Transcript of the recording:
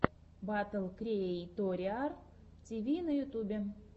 батл криэйториар тиви на ютубе